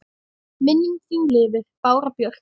Minning þin lifir, Bára Björk.